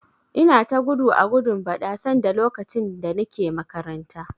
Ina ta gudu a gudun bada sanda lokacin da Nike makaranta.